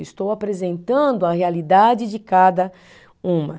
Estou apresentando a realidade de cada uma.